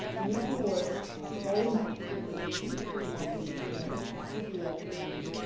We need to work very much with the region, with the African Union, with the UN framework.